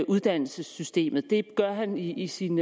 uddannelsessystemet det han i sin